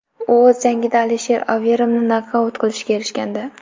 U o‘z jangida Alister Overimni nokaut qilishga erishgandi.